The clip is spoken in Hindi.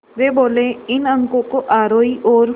वे बोले इन अंकों को आरोही और